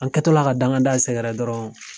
An kɛ tɔ la ka danga da sɛgɛrɛ dɔrɔn.